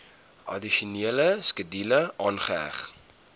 addisionele skedule aangeheg